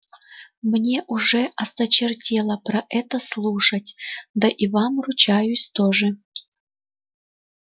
мне уже осточертело про это слушать да и вам ручаюсь тоже